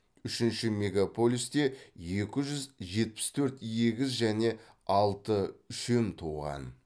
үшінші мегаполисте екі жүз жетпіс төрт егіз және алты үшем туған